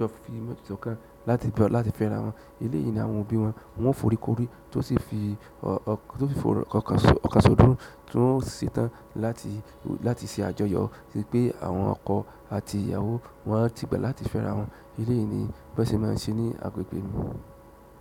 ti fimo jokan láti fẹ́ra wọn. Eléèyí ni àwọn òbí wọn, wọn fòrí korí tó sì fi tó sì fi ọ̀kan sódò tó sì tàn láti láti ṣe àjọyọ̀ sí pé àwọn ọkọ àti ìyàwó wọn ti pẹ́ láti fẹ́ra wọn. Elèyí ni bi won se máa ń ṣe ní agbègbè mi.